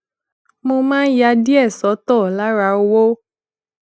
mo máa ń ya díè sótò lára owó